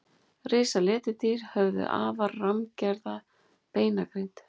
Risaletidýr höfðu afar rammgerða beinagrind.